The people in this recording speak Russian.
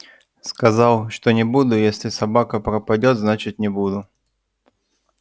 сказал что не буду если собака пропадёт значит не буду